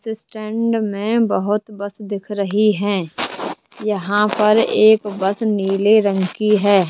Stand में बहोत bus दिख रही हैं यहां पर एक बस नीले रंग की है।